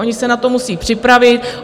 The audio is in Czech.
Oni se na to musí připravit.